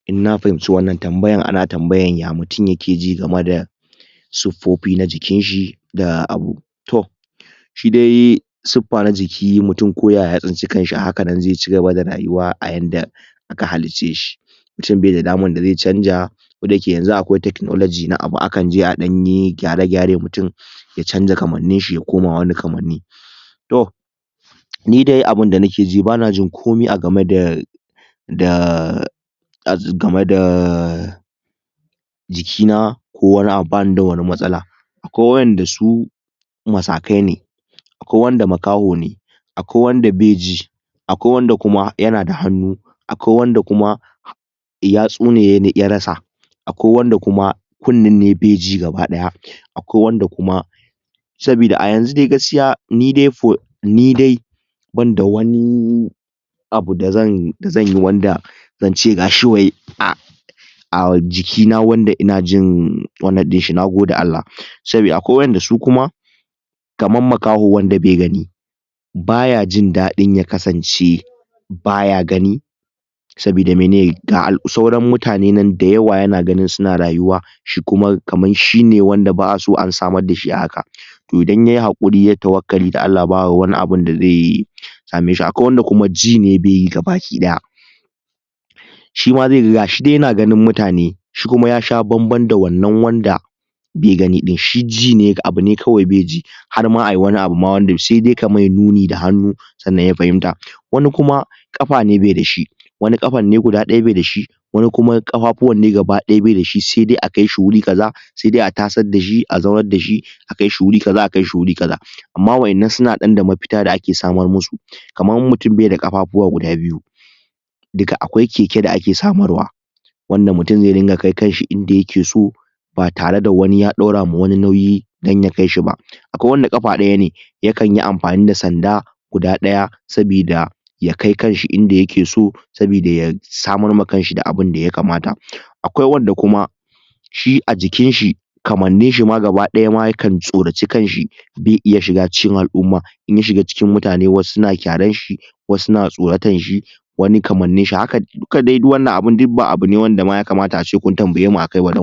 in na fahimci wannan tambayan ana tambayan ya mutum yake ji game da siffofi na jinkinshi da abu to shi dai suffa na jiki mutum ko yaya ya tsinci kanshi a haka nan zai cigaba da rayuwa a yanda aka halicce shi mutum bai da daman da zai canja ko da yake yanzu akwai technology na abu akan je ɗan yi gyare gyare mutum ya canza kamannin shi ya koma wani kamanni to ni dai abunda nike ji bana jin komai game da da um game da jiki na ko wani abu bani da wani matsala akwai waƴanda su masakai ne akwai wanda makaho ne akwai wanda be ji akwai wanda kuma yana da hannu akwai wanda kuma yatsu ne ya rasa akwai wanda kuma kunnen ne bai ji gaba ɗaya akwai wanda kuma sabida a yanzu dai gaskiya ni dai for ni dai ban da wani abu da zan da zan yi wanda zance gashi wai a um jiki na wanda ina jin wannan ɗinshi na gode Allah sabida akwai waƴanda su kuma kaman makaho wanda be gani baya jin daɗin ya kasance baya gani sabida mene ga um sauran mutane nan da yawa yana yana ganin suna rayuwa shi kuma kamar shine wanda ba a so an samar dashi a haka to idan yayi haƙuri yayi tawakali ga Allah ba wani abunda zai yi same shi akwai wanda shi kuma ji ne be yi ga baki daya shi ma zai ga ga shi dai yana ganin mutane shi kuma ya sha bamban da wannan wanda bai gani ɗin shi ji ne ga abu ne kawai be ji har ma a yi wani abu ma wanda se dai ka mai nuni da hannu sannan ya fahimta wani kuma ƙafa ne be da shi wani ƙafan ne guda ɗaya be da shi wani kuma ƙafafuwan ne gaba ɗaya bai da shi sai dai a kai shi wuri kaza sai dai a tasar da shi a zaunar da shi a kai shi wuri kaza a kai shi wuri kaza amma waƴannan suna da mafita da ake ɗan samar musu kamar in mutum bai da kafafuwa guda biyu duka akwai keke da ake samar wa wanda mutum zai ringa kai kan shi inda yake so ba tare da wani ya ɗaura ma wani nauyi don ya kai shi ba akwai wanda ƙafa daya ne yakan yi amfani da sanda guda ɗaya sabida ya kai kan shi inda yake so sabida ya samar ma kan shi da abinda ya kamata akwai wanda kuma shi a jikin shi kamannin shi ma gaba ɗaya ma ya kan tsoraci kan shi be iya shiga cikin al'umma in ya shiga cikin mutane wasu na kyaran shi wasu na tsoratar shi wani kamannin shi haka duka dai duk wannan abu duk ba abu ne wanda ma ya kamata a ce kun tambaye mu a kai ba don